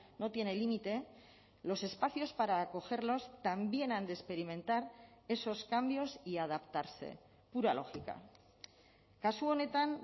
no tiene límite los espacios para acogerlos también han de experimentar esos cambios y adaptarse pura lógica kasu honetan